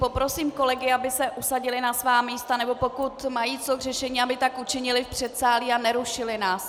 Poprosím kolegy, aby se usadili na svá místa, nebo pokud mají co k řešení, aby tak učinili v předsálí a nerušili nás.